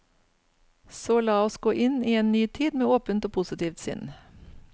Så la oss gå inn i en ny tid med åpent og positivt sinn.